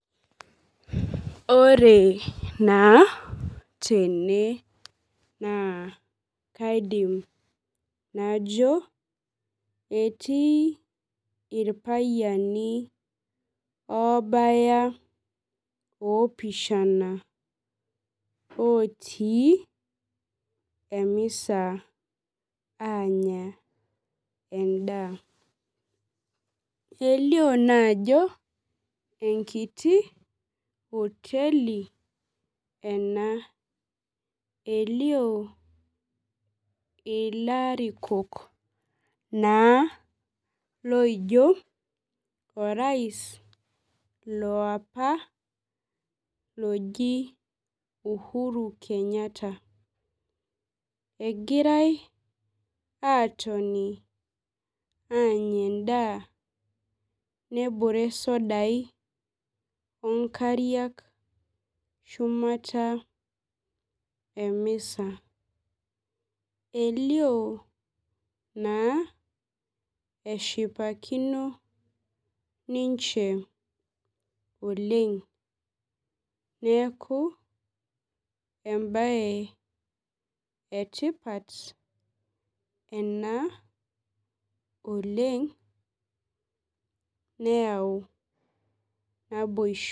Ore naa tene naa kaidim najo etii irpayiani oobaya opishana otii emisa aanya endaa elio naa ajo enkiti oteli ena elio ilarikok naa loijio orais loapa loji Uhuru kenyatta egirae atoni aanya endaa nebore isodai onkariak shumata emisa elio naa eshipakino ninche oleng neeku embaye etipat ena oleng neyau naboisho.